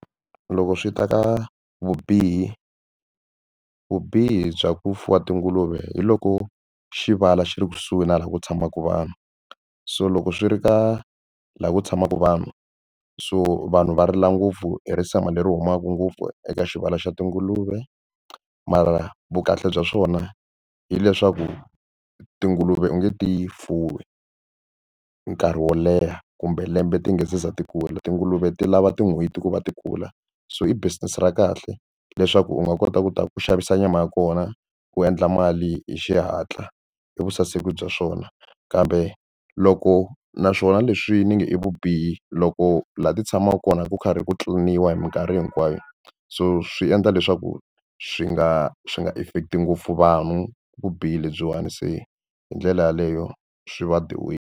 Loko swi ta ka vubihi vubihi bya ku fuwa tinguluve hi loko xi vala xi ri kusuhi na laha ku tshamaka vanhu so loko swi ri ka laha ku tshamaka vanhu so vanhu va rila ngopfu hi risema leri humaka ngopfu eka xibalo xa tinguluve mara vukahle bya swona hileswaku tinguluve u nge ti fuwi nkarhi wo leha kumbe lembe ti nga za ti kula tinguluve ti lava tin'hweti ku va ti kula so i business ra kahle leswaku u nga kota ku ta ku xavisa nyama ya kona u endla mali hi xihatla i vusaseki bya swona kambe loko naswona leswi ni nga i vubihi loko laha ti tshamaka kona ku karhi ku tliniwa hi mikarhi hinkwayo so swi endla leswaku swi nga swi nga affect-i ngopfu vanhu vubihi lebyiwani se hi ndlela yaleyo swi va the way.